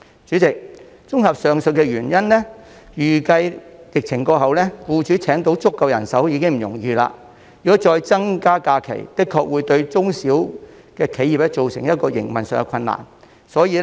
主席，綜合上述原因，預計疫情過後，僱主將難以聘請足夠人手，如果再增加假期，確實會對中小企造成營運上的困難。